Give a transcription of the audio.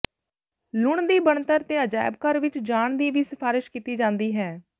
ਲੂਣ ਦੀ ਬਣਤਰ ਦੇ ਅਜਾਇਬ ਘਰ ਵਿਚ ਜਾਣ ਦੀ ਵੀ ਸਿਫਾਰਸ਼ ਕੀਤੀ ਜਾਂਦੀ ਹੈ